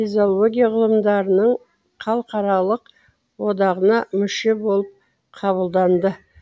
физиология ғылымдарының халықаралық одағына мүше болып қабылданады